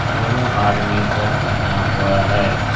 दोनों आदमी शट पहना हुआ है।